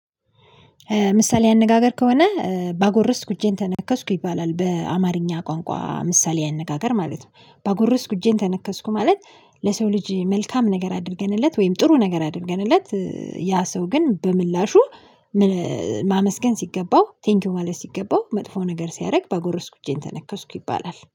ምሳሌ አነጋገር ከሆነ ባጎረስኩ እጄን ተነከስኩ ይባላል በአማርኛ ቋንቋ ምሳሌ አነጋገር ማለት ነው። ባጎረስኩ እጄን ተነከስኩ ማለት ለሰው ልጅ መልካም ነገር አድርገንለት ወይም ጥሩ ነገር አድርገንለት። ያ ሰው ግን በምላሹ ምን ማመስገን ሲገባው ቴንኪው ማለት ሲገባው መጥፎ ነገር ሲያደርግ ባጎረስኩኝ እጄን ተነከስኩ ይባላል